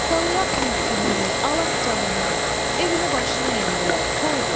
Talayaq mülkünü, alaq canını, evini başına endirək, hoydu!